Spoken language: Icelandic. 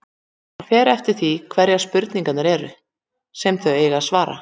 Það fer eftir því hverjar spurningarnar eru, sem þau eiga að svara.